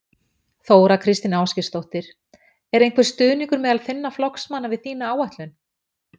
Þóra Kristín Ásgeirsdóttir: Er einhver stuðningur meðal þinna flokksmanna við þína áætlun?